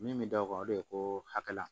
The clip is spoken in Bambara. Min bɛ d'aw kan o de ye ko hakɛ la